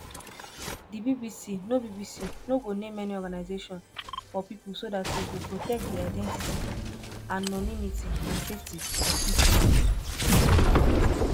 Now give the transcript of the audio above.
di bbc no bbc no go name any organisation or pipo so dat e go protect di identity anonymity and safety of pipo